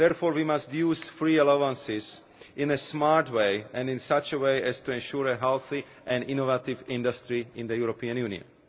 Therefore, we must use free allowances in a smart way and in such a way as to ensure a healthy and innovative industry in the European Union.